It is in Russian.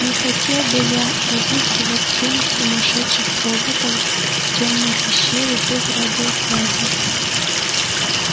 не хотел бы я разыскивать семь сумасшедших роботов в тёмной пещере без радиосвязи